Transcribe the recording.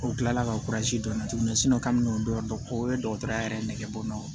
O kila la ka don n na tuguni kabini o yɔrɔ o ye dɔgɔtɔrɔya yɛrɛ nɛgɛbon naw